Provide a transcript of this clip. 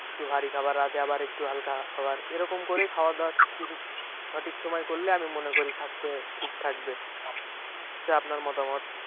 একটু ভারী খাবার রাতে আবার একটু হালকা খাবার এইরকম করে খাওয়াদাওয়া সঠিক সময়ে করলে আমি মনে করি স্বাস্থ্য ঠিক থাকবে যে আপনার মতামত?